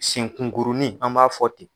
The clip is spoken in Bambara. Senkungurunin an b'a fɔ ten